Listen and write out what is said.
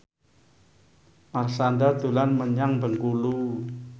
Marshanda dolan menyang Bengkulu